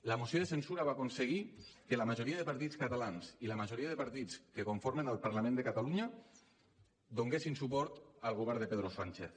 la moció de censura va aconseguir que la majoria de partits catalans i la majoria de partits que conformen el parlament de catalunya donéssim suport al govern de pedro sánchez